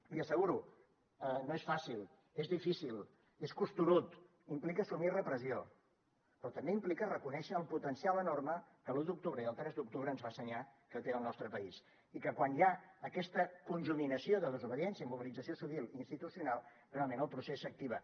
l’hi asseguro no és fàcil és difícil és costerut implica assumir repressió però també implica reconèixer el potencial enorme que l’u d’octubre i el tres d’octubre ens va ensenyar que té el nostre país i que quan hi ha aquesta conjuminació de desobediència i mobilització civil i institucional realment el procés s’activa